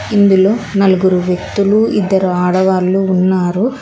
ఇందులో నలుగురు వ్యక్తులు ఇద్దరు ఆడవాళ్లు ఉన్నారు.